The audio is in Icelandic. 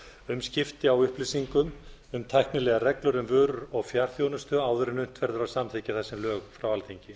um skipti á upplýsingum um tæknilegar reglur um vörur og fjarþjónustu áður en unnt verður að samþykkja þessi lög frá alþingi